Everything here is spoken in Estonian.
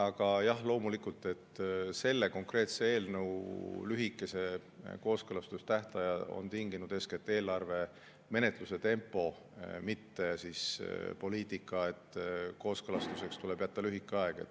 Aga jah, loomulikult, selle konkreetse eelnõu lühikese kooskõlastamise tähtajad on tinginud eeskätt eelarve menetluse tempo, mitte poliitika, et kooskõlastuseks tuleb jätta lühike aeg.